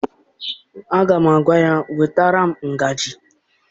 Aga m agwa ya, wetara m ngaji!